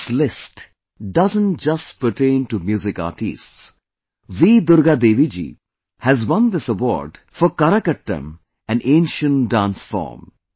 This list doesn't just pertain to music artistes V Durga Devi ji has won this award for 'Karakattam', an ancient dance form